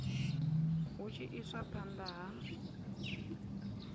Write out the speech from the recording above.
hu tshi iswa phanda ha